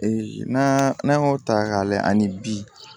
n'an y'o ta k'a lajɛ ani bi